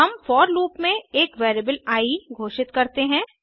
हम for loop में एक वेरिएबल आई घोषित करते हैं